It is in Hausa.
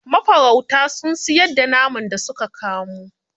Mafarautan sun siyar da naman da su ka kamo.